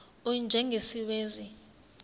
u y njengesiwezi